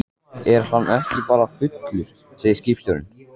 Er hann ekki bara fullur, segir skipstjórinn.